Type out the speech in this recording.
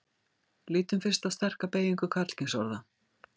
lítum fyrst á sterka beygingu karlkynsorða